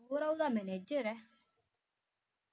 ਸੁਹਰਾ ਓਹਦਾ manager ਆ